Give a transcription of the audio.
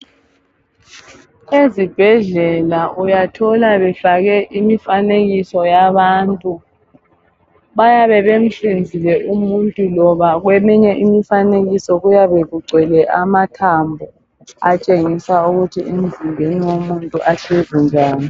Ezibhedlela uyathola befake imifanekiso yabantu bayabe bemhlinzile umuntu loba kweyinye imfanekiso kuyabe kugcwele amathambo atshengisa ukuthi emzimbeni womuntu ahlezi njani.